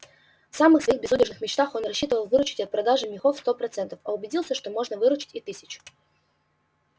в самых своих безудержных мечтах он рассчитывал выручить от продажи мехов сто процентов а убедился что можно выручить и тысячу